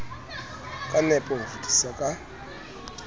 ka nepo ho fetisa ka